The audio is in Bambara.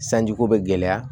Sanjiko bɛ gɛlɛya